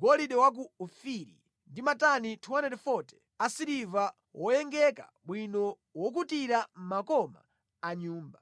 (golide wa ku Ofiri) ndi matani 240 a siliva woyengeka bwino wokutira makoma a nyumba,